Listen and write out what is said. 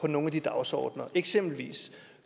nogle af de dagsordener det eksempelvis